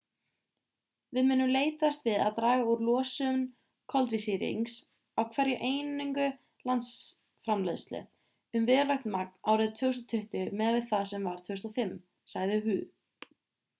við munum leitast við að draga úr losun koltvísýrings á hverja einingu landsframleiðslu um verulegt magn árið 2020 miðað við það sem var 2005 sagði hu